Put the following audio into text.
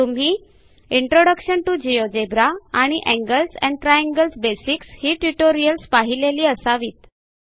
तुम्ही introduction to GeoGebra आणि angles and triangles basics ही ट्युटोरियल्स पाहिलेली असावीत